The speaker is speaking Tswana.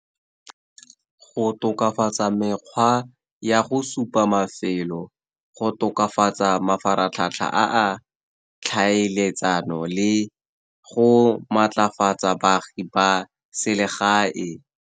Go tokafatsa mekgwa ya go supa mafelo, go tokafatsa mafaratlhatlha a a tlhaeletsano, le go maatlafatsa baagi ba selegae.